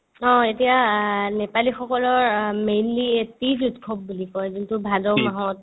অ, এতিয়া আ নেপালীসকলৰ অ mainly এই তিজ উৎসৱ বুলি কই যোনতো ভাদ মাহত